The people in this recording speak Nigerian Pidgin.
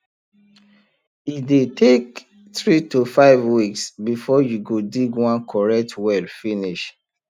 it dey take three to five weeks before u go dig one correct well finish